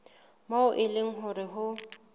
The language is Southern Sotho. moo e leng hore ho